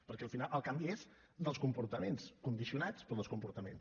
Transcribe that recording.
perquè al final el canvi és dels comportaments condicionats però dels comportaments